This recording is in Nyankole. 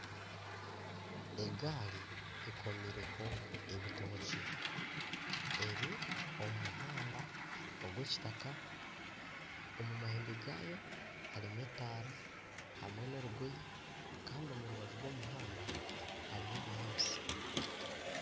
Egaari ekomireho ebitokye eri omu muhanda ogw'ekitaka. Omu mahembe gayo harimu ekitaara hamwe n'orugoyi kandi omurubaju rw'omuhanda harimu ebinyaatsi.